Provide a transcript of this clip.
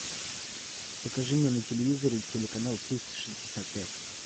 покажи мне на телевизоре телеканал триста шестьдесят пять